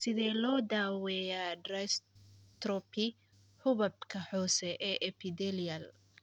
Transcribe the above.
Sidee loo daaweeyaa dystrophy xuubabka hoose ee epithelial?